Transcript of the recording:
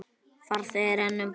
Farþegi er einn um borð.